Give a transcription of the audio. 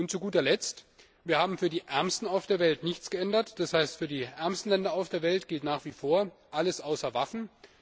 Zu guter Letzt Wir haben für die Ärmsten auf der Welt nichts geändert, das heißt für die ärmsten Länder auf der Welt gilt nach wie vor alles außer Waffen.